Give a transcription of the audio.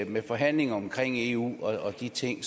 med forhandlinger omkring eu og de ting